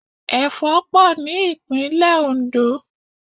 Ẹ̀fọ́ pọ̀ ní ìpínlẹ̀ oǹdó